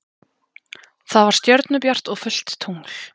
Það var stjörnubjart og fullt tungl.